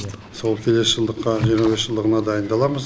сол келесі жылдыққа жиырма бес жылдығына дайындаламыз